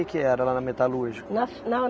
que era lá na metalúrgica? Na fi na